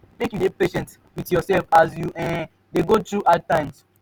make you dey patient wit yoursef as you um dey go through hard times.